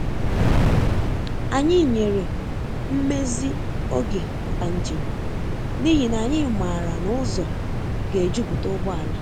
Anyị nyere mmezi oge maka njem, n’ihi na anyị maara na ụzọ ga-ejupụta ụgbọala.